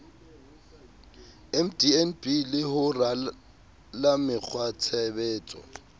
mdnb le ho rala mekgwatshebetso